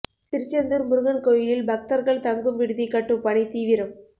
திருச்செந்தூா் முருகன் கோயிலில் பக்தா்கள் தங்கும் விடுதி கட்டும் பணி தீவிரம்